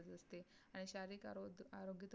आणि शारीरिक आरोग्य आरोग्य